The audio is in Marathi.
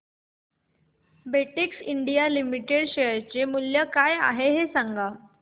बेटेक्स इंडिया लिमिटेड शेअर चे मूल्य काय आहे हे सांगा